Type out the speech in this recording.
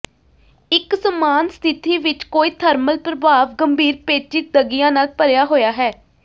ਇੱਕ ਸਮਾਨ ਸਥਿਤੀ ਵਿੱਚ ਕੋਈ ਥਰਮਲ ਪ੍ਰਭਾਵ ਗੰਭੀਰ ਪੇਚੀਦਗੀਆਂ ਨਾਲ ਭਰਿਆ ਹੋਇਆ ਹੈ